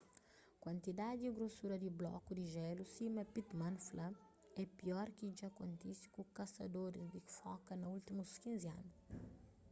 kuantidadi y grosura di bloku di jélu sima pittman fla é pior ki dja kontise ku kasadoris di foka na últimus 15 anu